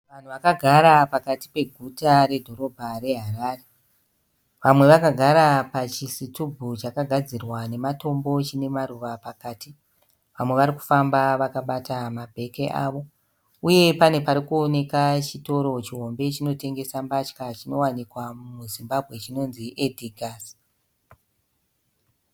Vanhu vakagara pakati peguta redhorobha reHarare. Vamwe vakagara pachisitubhu chakagadzirwa nematombo chine maruva pakati. Vamwe vari kufamba vakabata mabheki avo. Uye pane parikuonekwa chitoro chihombe chinotengesa mbatya chinowanikwa muZimbabwe chinonzi Edgars.